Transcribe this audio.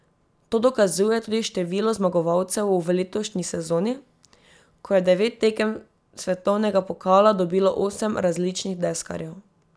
To dokazuje tudi število zmagovalcev v letošnji sezoni, ko je devet tekem svetovnega pokala dobilo osem različnih deskarjev.